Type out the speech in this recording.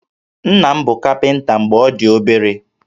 Nna m bụ kapịnta mgbe m dị obere